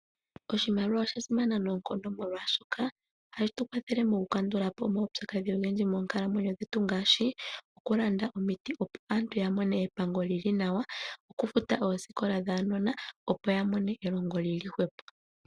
Oshimaliwa osha simana noonkondo molwaashoka ohashi tu kwathele moku kandula po omaupyakadhi ogendji monkalamwenyo dhetu ngaashi okulanda omiti opo aantu ya mone epango lili nawa, okufuta oosikola dhaanona opo ya mone elongo lili hwepo.